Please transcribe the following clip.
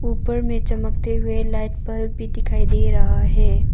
ऊपर में चमकते हुए लाइट बल्ब भी दिखाई दे रहा है।